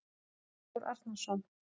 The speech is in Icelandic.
Halldór Arnarsson